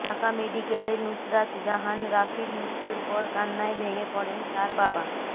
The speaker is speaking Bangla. ঢাকা মেডিকেলে নুসরাত জাহান রাফির মৃত্যুর পর কান্নায় ভেঙে পড়েন তার বাবা